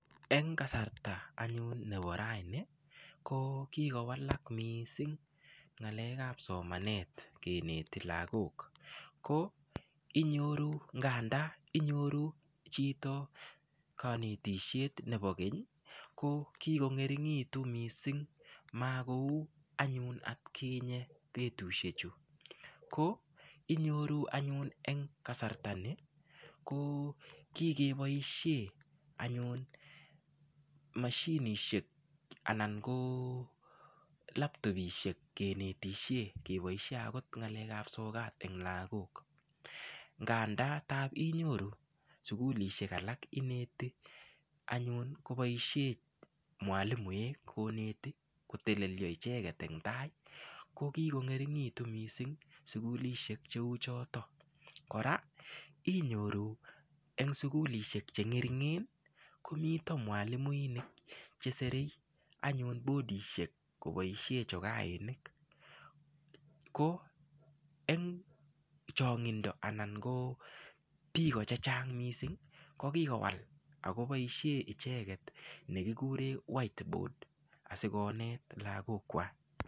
Eng kasarta anyun nabo raini ko kikowalak miising ng'alek ap somanet keneti lakok ko inyoru ng'anda inyoru chito kanetishet nebo keny ko kiko ngeringitu mising makou anyun atkinye betushek chu ko inyoru anyun eng kasarta ni ko kikeboishe anyun mashinishek anan ko laptopishek kenetishe keboishe akot ngalek ap sokat eng lakok ng'anda tap inyoru sukulishek alak ineti anyun koboisie mwalimoek koneti kotelelio icheket ing tai ko kiko ngeringitu mising sukulishek cheu chotok kora inyoru eng sukulishek chengeringen komito mwalimuinik cheserei anyun bodishek koboishe chokainik ko eng chong'indo anan ko biko chechang mising kokikowal akoboishen icheket nekikure white board asikonet lakok kwach.